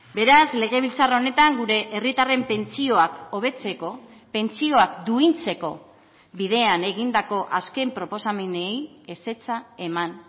beraz legebiltzar honetan gure herritarren pentsioak hobetzeko pentsioak duintzeko bidean egindako azken proposamenei ezetza eman